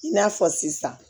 I n'a fɔ sisan